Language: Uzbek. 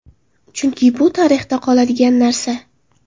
Chunki bu tarixda qoladigan narsa.